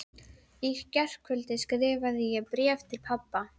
Í gærkvöldi skrifaði ég bréf til pabba.